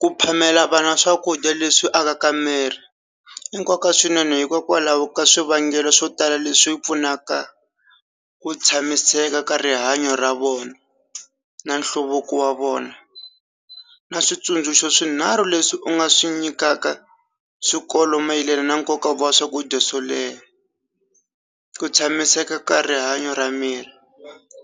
Ku phamela vana swakudya leswi akaka miri i nkoka swinene hikokwalaho ka swivangelo swo tala leswi pfunaka ku tshamiseka ka rihanyo ra vona na nhluvuko wa vona na switsundzuxo swinharhu leswi u nga swi nyikaka swikolo mayelana na nkoka wa swakudya swo leha ku tshamiseka ka rihanyo ra miri